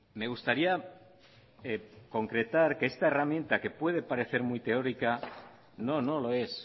me gustaría concretar que esta herramienta que puede parecer muy teórica no no lo es